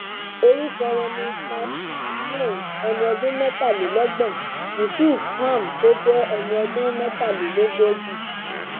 orúkọ wọn ni micheal leng ẹni ọdún mẹtàlélọgbọn yusuf pam tó jẹ ẹni ọdún mẹtàlélógójì